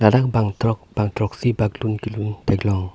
ladak bang throk bang throksi bak lun k lun theklong.